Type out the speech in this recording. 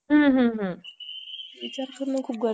किव्हा जे काही वॉटर पोल्युशन असो